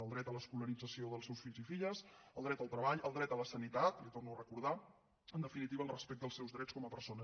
el dret a l’escolarització dels seus fills i filles el dret al treball el dret a la sanitat li ho torno a recordar en definitiva els seus drets com a persones